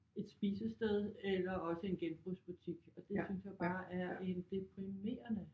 Et spisested eller også en genbrugsbutik og det synes jeg bare er en deprimerende